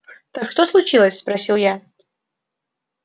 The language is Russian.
так что случилось спросил я